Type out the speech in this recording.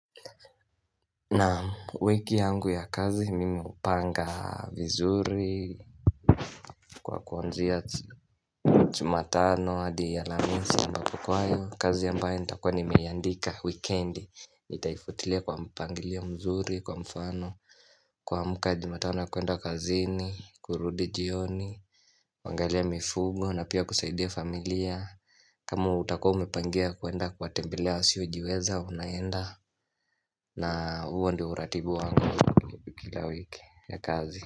Naam wiki yangu ya kazi mimi hupanga vizuri Kwa kuanzia jumatano adi ya alhamisi ambapo kwayo kazi ambayo nitakuwa nimeiandika wikendi nitaifuatilia kwa mpangilio mzuri kwa mfano kuamka jumatano ya kuenda kazini, kurudi jioni kuangalia mifugo na pia kusaidia familia kama utakuwa umepangia kuenda kuwatembelea wasiojiweza unaenda na huo ndio uratibu wangu kila wiki ya kazi.